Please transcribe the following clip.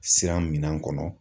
Siran minan kɔnɔ